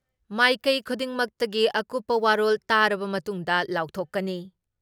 ꯃꯥꯏꯀꯩ ꯈꯨꯗꯤꯡꯃꯛꯇꯒꯤ ꯑꯀꯨꯞꯄ ꯋꯥꯔꯣꯜ ꯇꯥꯔꯕ ꯃꯇꯨꯡꯗ ꯂꯥꯎꯊꯣꯛꯀꯅꯤ ꯫